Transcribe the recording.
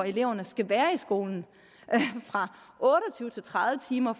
eleverne skal være i skolen fra otte og tyve til tredive timer